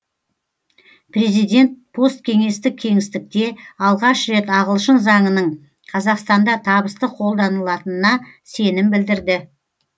президент посткеңестік кеңістікте алғаш рет ағылшын заңының қазақстанда табысты қолданылатынына сенім білдірді